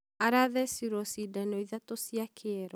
arathecirwo cidano ithatũ cia kĩero